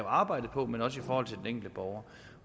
arbejdet på men også i forhold til den enkelte borger